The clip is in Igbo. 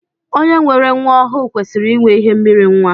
Onye nwere nwa ọhụụ kwesịrị inwe ihe mmiri nwa.